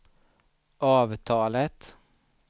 avtalet